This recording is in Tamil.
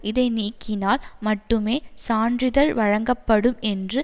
இதை நீக்கினால் மட்டுமே சான்றிதழ் வழங்கப்படும் என்று